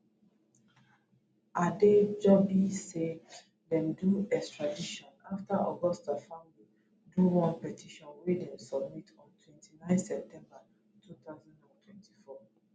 adejobi say dem do di extradition afta augusta family do one petition wey dem submit on twenty nine september